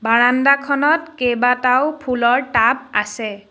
বাৰাণ্ডাখনত কেইবাটাও ফুলৰ টাব আছে।